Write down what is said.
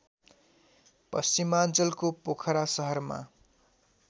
पश्चिमाञ्चलको पोखरा सहरमा